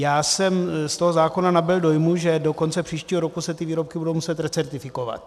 Já jsem z toho zákona nabyl dojmu, že do konce příštího roku se ty výrobky budou muset recertifikovat.